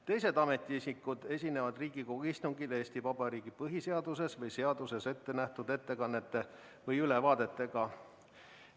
Teised ametiisikud esinevad Riigikogu istungil Eesti Vabariigi põhiseaduses või seaduses ettenähtud ettekannete või ülevaadetega.